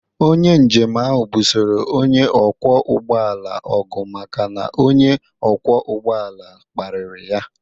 Onye njem ahụ busoro onye ọkwọ ụgbọ ala ọgụ maka na onye ọkwọ ụgbọ ala kparịrị ya